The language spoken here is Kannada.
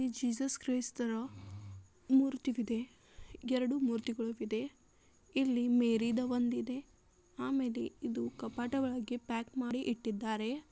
ಜೀಸಸ್ ಕ್ರೈಸ್ತ ರ ಮೂರ್ತಿವಿದೆ ಎರಡು ಮೂರ್ತಿಗಳುವಿದೆ ಇಲ್ಲಿ ಮೇರಿದ ಒಂದ ಇದೆ ಆಮೇಲೆ ಇದು ಕಪಾಟ ಒಳಗೆ ಪ್ಯಾಕ್ ಮಾಡಿ ಇಟ್ಟಿದ್ದಾರೆ.